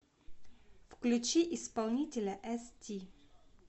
включи исполнителя эсти